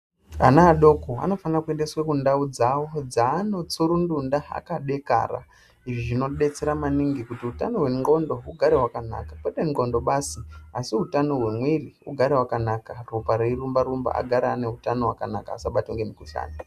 Ana adoko anofana kuendeswa kundau dzavo dzavanoysurundunda akadekara izvi zvinodetsera maningi kuti utano hwendwondo ugare hwakanaka kwete ndwondo basi asi utano hwemwiri ugara wakanaka ropa reirumba rumba agare ane utano hwakanaka asabatwa ngemukuhlani.